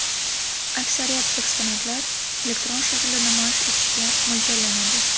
Aksariyat eksponatlar elektron shaklda namoyish etishga mo‘ljallanadi.